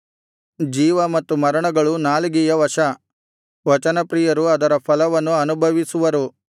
ಜೀವ ಮತ್ತು ಮರಣಗಳು ನಾಲಿಗೆಯ ವಶ ವಚನಪ್ರಿಯರು ಅದರ ಫಲವನ್ನು ಅನುಭವಿಸುವರು